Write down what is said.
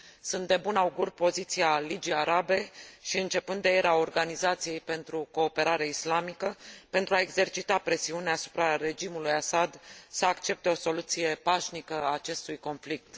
Sunt de bun augur poziția Ligii Arabe și, începând de ieri, a Organizației pentru Cooperare Islamică, pentru a exercita presiuni asupra regimului Assad să accepte o soluție pașnică a acestui conflict.